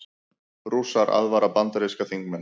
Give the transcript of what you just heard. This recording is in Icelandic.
Rússar aðvara bandaríska þingmenn